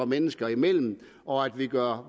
mennesker imellem og at vi gør